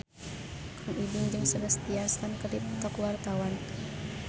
Kang Ibing jeung Sebastian Stan keur dipoto ku wartawan